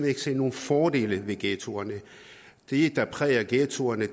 ikke se nogen fordele ved ghettoerne det der præger ghettoerne